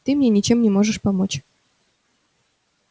ты мне ничем не можешь помочь